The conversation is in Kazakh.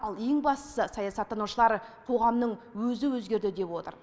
ал ең бастысы саясаттанушылар қоғамның өзі өзгерді деп отыр